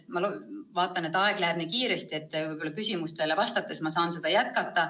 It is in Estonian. Ma vaatan, et aeg läheb nii kiiresti, võib-olla ma küsimustele vastates saan seda teemat jätkata.